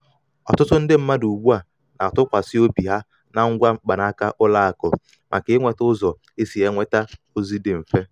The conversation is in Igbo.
ọtụtụ ndị mmadụ ugbu a na-atụkwasị obi ha na ngwa mkpanaka ụlọ akụ maka inweta ụzọ e si enweta ozi dị mfe.